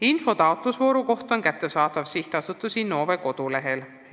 Info taotlusvooru kohta on kättesaadav SA Innove kodulehelt.